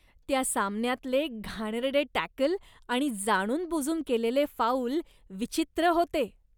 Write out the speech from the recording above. त्या सामन्यातले घाणेरडे टॅकल आणि जाणूनबुजून केलेले फाऊल विचित्र होते.